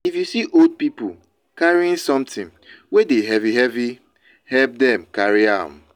if you see old pipo carrying something wey de heavy heavy help dem carry am